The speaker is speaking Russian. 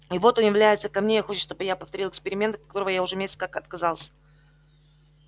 и вот он является ко мне и хочет чтобы я повторил эксперимент от которого я уже месяц как отказался